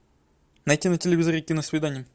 найти на телевизоре киносвидание